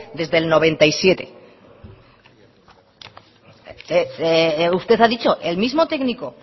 desde mil novecientos noventa y siete usted ha dicho el mismo técnico